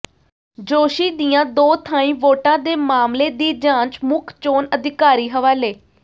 ਜੋਸ਼ੀ ਦੀਆਂ ਦੋ ਥਾਈਂ ਵੋਟਾਂ ਦੇ ਮਾਮਲੇ ਦੀ ਜਾਂਚ ਮੁੱਖ ਚੋਣ ਅਧਿਕਾਰੀ ਹਵਾਲੇ